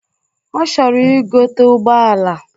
Ọ chọrọ igote ụgbọala.